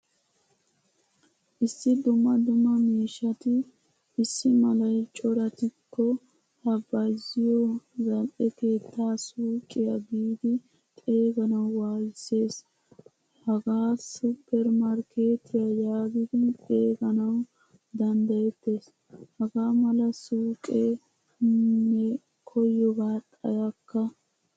Issi dumma dumma miishshati issi malay corattiko ha bayzziyo zal'e keettaa suuqiyaa giidi xeeganawu wayssees. Hagaa supper markkettiyaa yaagidi xeeganawu danddayettees. Hagaa mala suuqqe ne koyoba xayakka.